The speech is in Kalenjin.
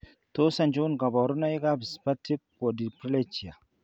Tos achon kabarunaik ab Spastic quadriplegia ?